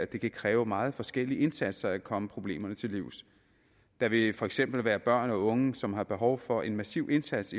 det kan kræve meget forskellige indsatser at komme problemerne til livs der vil for eksempel være børn og unge som har behov for en massiv indsats